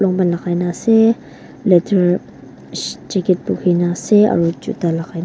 lonpan lagai na ase leather jacket bukhi na ase aro juta lagai na--